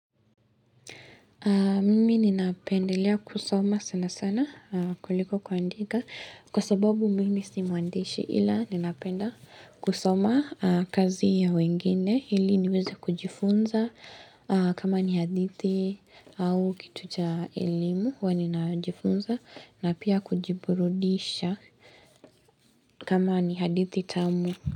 Mimi ninapendelea kusoma sana sana kuliko kuandika kwa sababu mimi si mwandishi ila ninapenda kusoma kazi ya wengine ili niweze kujifunza kama ni hadithi au kitu cha elimu huwa ninajifunza na pia kujiburudisha kama ni hadithi tamu.